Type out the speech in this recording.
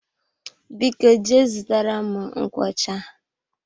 Biko jee zụtara m nkwocha.